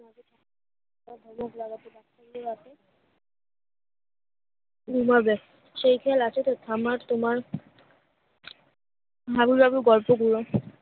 তুমি বেরোবে সেখানে আছে তা তামার তোমার ভালো লাগে গল্প গুলো